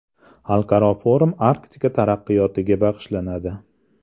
Xalqaro forum Arktika taraqqiyotiga bag‘ishlanadi.